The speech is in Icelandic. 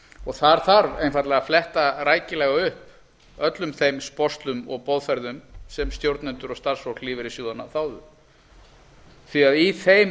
og þar þarf einfaldlega að fletta rækilega upp öllum þeim sporslum og boðsferðum sem stjórnendur og starfsfólk lífeyrissjóðanna þáðu því að í þeim